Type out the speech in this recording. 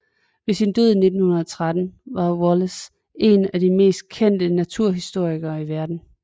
Ved sin død i 1913 var Wallace en af de mest kendte naturhistorikere i verden